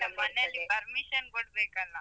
ನಮ್ಮನೆಯಲ್ಲಿ permission ಕೊಡ್ಬೇಕ್ಕಲ್ಲಾ?